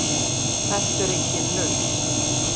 Þetta er engin lausn.